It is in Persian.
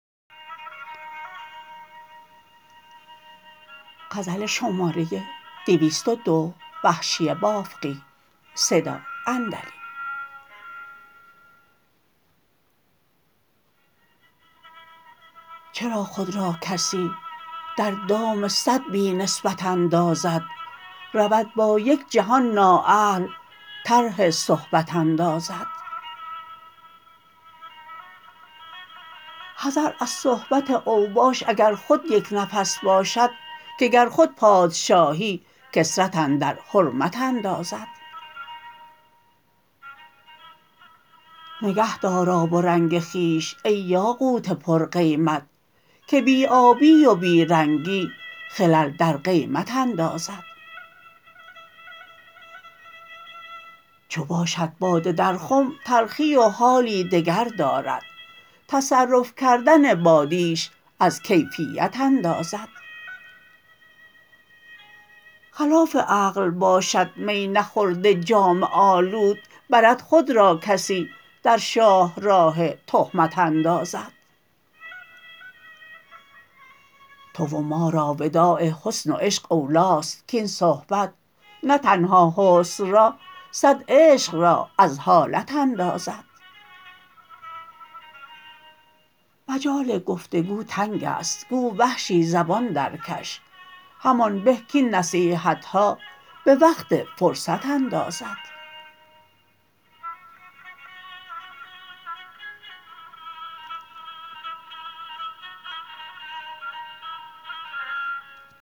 چرا خود را کسی در دام سد بی نسبت اندازد رود با یک جهان نا اهل طرح صحبت اندازد حذر از صحبت اوباش اگر خود یک نفس باشد که گر خود پادشاهی کثرت اندر حرمت اندازد نگه دار آب و رنگ خویش ای یاقوت پر قیمت که بی آبی و بی رنگی خلل در قیمت اندازد چو باشد باده در خم تلخی و حالی دگر دارد تصرف کردن بادیش از کیفیت اندازد خلاف عقل باشد می نخورده جامه آلود برد خود را کسی در شاهراه تهمت اندازد تو و مارا وداع حسن و عشق اولاست کاین صحبت نه تنها حسن را سد عشق را از حالت اندازد مجال گفت و گو تنگ است گو وحشی زبان در کش همان به کاین نصیحتها به وقت فرصت اندازد